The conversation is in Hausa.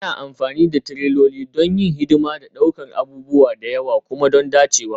Ana amfani da tireloli don yin hidima da ɗaukar abubuwa da yawa kuma don dacewa